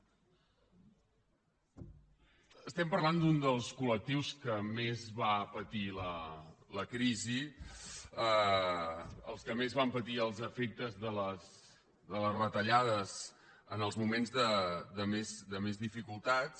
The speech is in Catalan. estem parlant d’un dels col·lectius que més va patir la crisi els que més van patir els efectes de les retallades en els moments de més dificultats